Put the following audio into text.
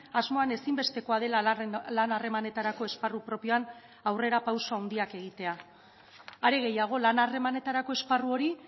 asmoan ezinbestekoa dela lan harremanetarako esparru propioan aurrera pauso handiak egitea are gehiago lan harremanetarako esparru hori